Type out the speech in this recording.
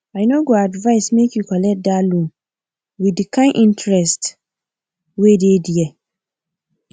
i no go advise make you collect that loan with the kind interest wey dey there